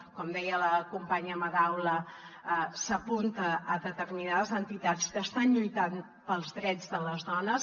com deia la companya madaula s’apunta a determinades entitats que estan lluitant pels drets de les dones